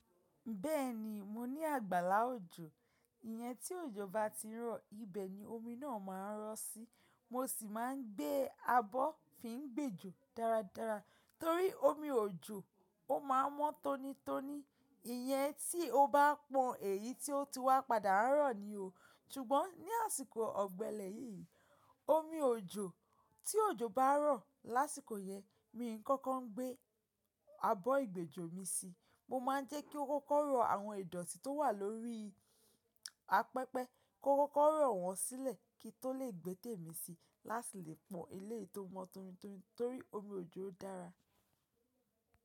Bẹ́ẹ̀ni, mo ní àgbàlá òjò. Ìyẹn tí òjò bá ti rọ̀, ibẹ̀ ni omi náà máa ń rọ̀ sí. Mo sì máa ń gbé abọ́ fi ń gbèjò dáradára torí omi òjò ó máa mọ́ tónítóní. Ìyẹn tí ó bá pọ̀n, èyí tí ó ti wá padà rọ̀ ni o. Ṣùgbọ́n ní àsìkò ọ̀gbẹlẹ̀ yìí, omi òjò tí òjò bá rọ̀ lásìkò yẹn, mi ń kọ́kọ́ gbé abọ́ ìgbèjò mi sí. Mo máa ń jẹ́ kí ó kókó rọ àwọn ìdọ̀tí tó wà lórí apẹpẹ, kó kókó rọ̀ wọ́n sílẹ̀ kí tó lè gbẹ́témi si lásìkò lè pọ̀n eléyìí tó mọ́ tónítóní torí omi òjò dára.